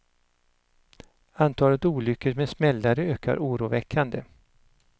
Antalet olyckor med smällare ökar oroväckande.